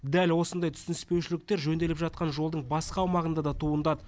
дәл осындай түсініспеушіліктер жөнделіп жатқан жолдың басқа аумағында да туындады